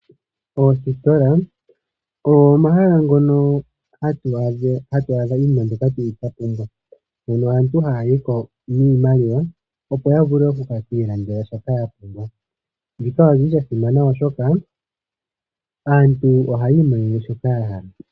Oositola ogo omahala ngono hatu adha iinima mbyoka tuli twapumbwa . Mono aantu haya yiko niimaliwa opo yavule okukilandela shoka yapumbwa shika oshili sha simana oshoka aantu ohayi monene shoka yahala.